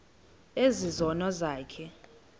ezi zono zakho